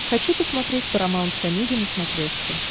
хочу посмотреть парамаунт комеди на смотрешке